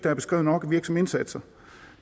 er beskrevet nok virksomme indsatser